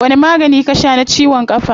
Wani magani ka shaa na ciwon kafa?